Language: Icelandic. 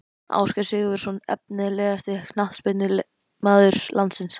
Ásgeir Sigurvinsson Efnilegasti knattspyrnumaður landsins?